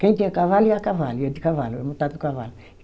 Quem tinha cavalo ia a cavalo, ia de cavalo, montado no cavalo.